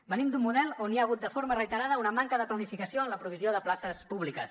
venim d’un model on hi ha hagut de forma reiterada una manca de planificació en la provisió de places públiques